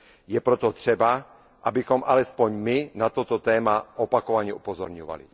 Je proto třeba, abychom alespoň my na toto téma opakovaně upozorňovali.